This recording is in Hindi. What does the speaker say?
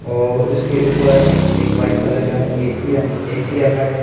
और उसके ऊपर एक व्हाइट कलर का एक ए_सी र ए_सी भी रखा है।